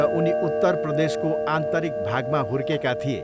र उनी उत्तर प्रदेशको आन्तरिक भागमा हुर्केका थिए।